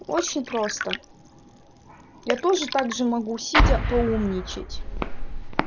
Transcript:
очень просто я тоже также могу сидя поумничать